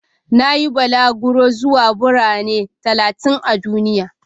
Na yi balaguro zuwa Birane talatin a duniya.